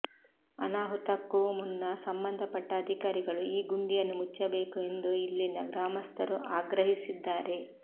ಅನಾಹುತಕ್ಕೂ ಮುನ್ನ ಸಂಬಂಧಪಟ್ಟ ಅಧಿಕಾರಿಗಳು ಈ ಗುಂಡಿಯನ್ನು ಮುಚ್ಚಬೇಕು ಎಂದು ಇಲ್ಲಿನ ಗ್ರಾಮಸ್ಥರು ಆಗ್ರಹಿಸಿದ್ದಾರೆ